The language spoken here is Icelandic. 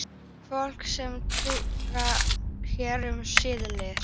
Fólk er tortryggið hér um slóðir